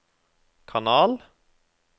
kanal